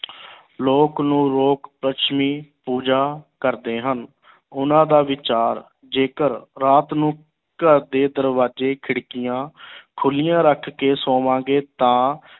ਲੋਕ ਨੂੰ ਲੋਕ ਲੱਛਮੀ ਪੂਜਾ ਕਰਦੇ ਹਨ ਉਹਨਾਂ ਦਾ ਵਿਚਾਰ ਜੇਕਰ ਰਾਤ ਨੂੰ ਘਰ ਦੇ ਦਰਵਾਜ਼ੇ ਖਿੜਕੀਆਂ ਖੁੱਲੀਆਂ ਰੱਖ ਕੇ ਸੋਵਾਂਗੇ ਤਾਂ